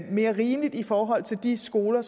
mere rimeligt i forhold til de skoler